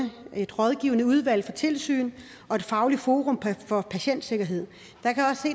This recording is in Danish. rådgivende udvalg for tilsyn og fagligt forum for patientsikkerhed